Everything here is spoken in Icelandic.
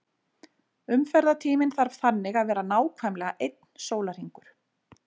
Umferðartíminn þarf þannig að vera nákvæmlega einn sólarhringur.